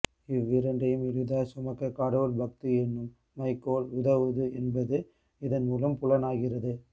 இவ்விரண்டையும் எளிதாய் சுமக்க கடவுள் பக்தி என்னும் மையக்கோல் உதவுது என்பது இதன்மூலம் புலனாகிறது